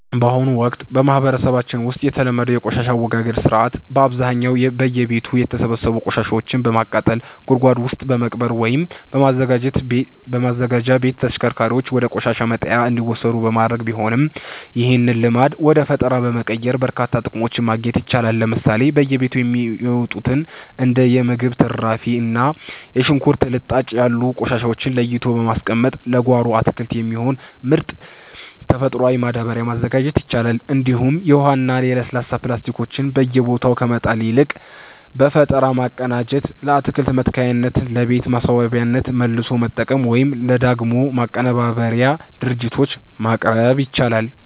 በአሁኑ ወቅት በማህበረሰባችን ውስጥ የተለመደው የቆሻሻ አወጋገድ ሥርዓት በአብዛኛው በየቤቱ የተሰበሰቡ ቆሻሻዎችን በማቃጠል፣ ጉድጓድ ውስጥ በመቅበር ወይም በማዘጋጃ ቤት ተሽከርካሪዎች ወደ ቆሻሻ መጣያ እንዲወሰዱ በማድረግ ቢሆንም፣ ይህንን ልማድ ወደ ፈጠራ በመቀየር በርካታ ጥቅሞችን ማግኘት ይቻላል። ለምሳሌ በየቤቱ የሚወጡትን እንደ የምግብ ትርፍራፊ እና የሽንኩርት ልጣጭ ያሉ ቆሻሻዎችን ለይቶ በማስቀመጥ ለጓሮ አትክልት የሚሆን ምርጥ ተፈጥሯዊ ማዳበሪያ ማዘጋጀት ይቻላል፤ እንዲሁም የውሃና የለስላሳ ፕላስቲኮችን በየቦታው ከመጣል ይልቅ በፈጠራ በማቀናጀት ለአትክልት መትከያነትና ለቤት ማስዋቢያነት መልሶ መጠቀም ወይም ለዳግም ማቀነባበሪያ ድርጅቶች ማቅረብ ይቻላል።